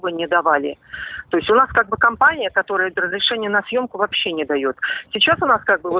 мы не давали то есть у нас как бы компания которая разрешения на съёмку вообще не даёт сейчас у нас как бы